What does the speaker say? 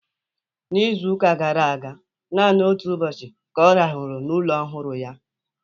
N'izu ụka gara aga, naanị otu ụbọchị ka ọ rahụru n'ụlọ ọhụrụ ya.